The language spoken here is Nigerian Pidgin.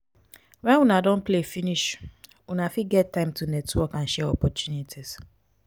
when una don play finish una fit get time to network and share opportunities